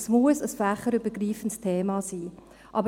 Es muss ein fächerübergreifendes Thema sein.